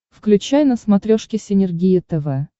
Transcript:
включай на смотрешке синергия тв